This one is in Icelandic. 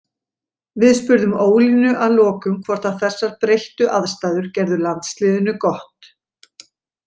Við spurðum Ólínu að lokum hvort að þessar breyttu aðstæður gerðu landsliðinu gott.